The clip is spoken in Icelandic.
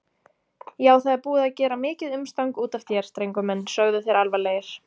Já, það er búið að gera mikið umstang útaf þér, drengur minn, sögðu þeir alvarlegir.